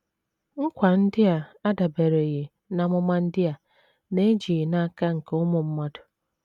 Nkwa ndị a adabereghị n’amụma ndị a na - ejighị n’aka nke ụmụ mmadụ.